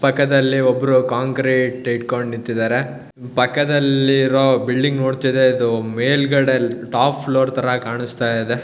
ಪಕ್ಕದಲ್ಲೆ ಒಬ್ರು ಕಾಂಕ್ರಿಟ್ ಇಟ್ಟಕೊಂಡು ನಿಂತಿದ್ದಾರೆ ಪಕ್ಕದಲ್ಲಿರೋ ಬಿಲ್ಡಿಂಗ್ ನೋಡತ್ತಿರೋದು ಮೇಲಗಡೆ ಟಾಪ್ ಫ್ಲೋರ್ ತರ ಕಾಣಸ್ತಾ ಇದೆ.